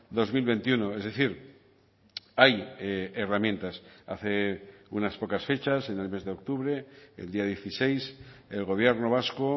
dos mil veintiuno es decir hay herramientas hace unas pocas fechas en el mes de octubre el día dieciséis el gobierno vasco